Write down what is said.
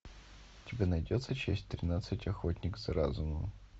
у тебя найдется часть тринадцать охотник за разумом